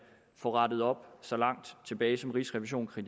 få rettet op så langt tilbage som rigsrevisionen har